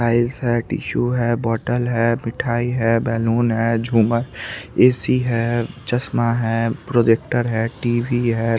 Tiles है tissue है बोतल है मिठाई है बैलून है जुमर है ऐ_सी है चश्मा है प्रोजेक्टर है टीवी है।